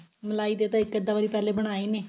ਮਲਾਈ ਦੇ ਤਾਂ ਇੱਕ ਅੱਧਾ ਵਾਰ ਪਹਿਲਾਂ ਬਨਾਏ ਵੀ ਨੇ